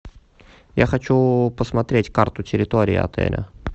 я хочу посмотреть карту территории отеля